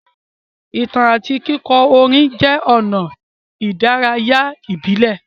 Ìtàn àti kíkọ orin jẹ́ ọ̀nà ìdárayá ìbílẹ̀.